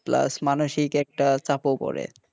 plus একটা মানুষিক চাপও পরে,